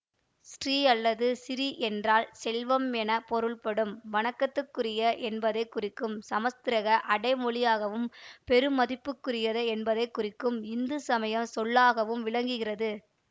ஸ்ரீ அல்லது சிறீ என்றால் செல்வம் என பொருள்படும் வணக்கத்துக்குரிய என்பதை குறிக்கும் சமசுகிரத அடைமொழியாகவும் பெருமதிப்புக்குரிய என்பதை குறிக்கும் இந்து சமயச் சொல்லாகவும் விளங்குகிறது